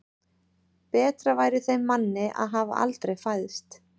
Betra væri þeim manni að hafa aldrei fæðst.